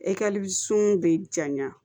E ka sun bɛ jaɲa